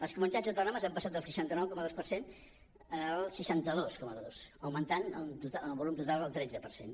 les comunitats autònomes han passat del seixanta nou coma dos per cent al seixanta dos coma dos i han augmentat en el volum total el tretze per cent